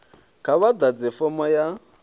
kha vha ḓadze fomo ya